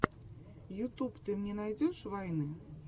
ютуб ты мне найдешь вайны